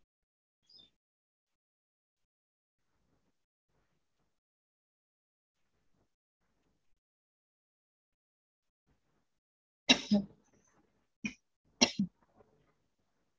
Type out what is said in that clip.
veg வந்து பாத்தீங்கனா அதேதா actual லா ரெண்டு type plan பண்ணிருக்கோம் ஒன்னு வந்து normal லா meals குடுப்போம் இல்லயா அந்த மாதிரி இல்லனா veg பிரியாணி அந்த மாதிரி எதாச்சும் உங்கள்துல எது best price ல இருக்கு